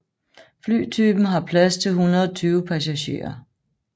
Flytypen har plads til 120 passagerer